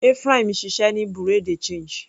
Ephraim ń ṣiṣẹ́ ní Bereau de change.